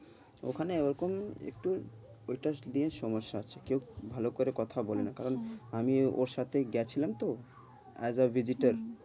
ওখানে ওরকম একটু ওইটা নিয়ে সমস্যা আছে, কেউ ভালো করে কথা বলে না, কারণ আমি ওর সাথে গেছিলাম তো as avisitor